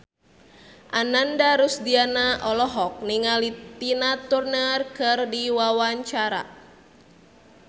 Ananda Rusdiana olohok ningali Tina Turner keur diwawancara